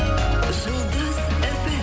жұлдыз фм